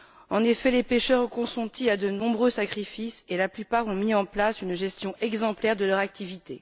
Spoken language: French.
En effet, les pêcheurs ont consenti de nombreux sacrifices et la plupart ont mis en place une gestion exemplaire de leur activité.